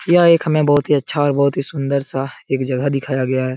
यह एक हमे बहुत ही अच्छा और बहुत ही सुन्दर-सा एक जगह दिखाया गया है।